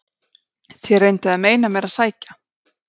SKÚLI: Þér reynduð að meina mér að sækja